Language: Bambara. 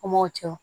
An m'o cɛ